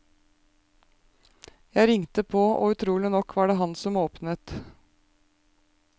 Jeg ringte på, og utrolig nok var det ham som åpnet.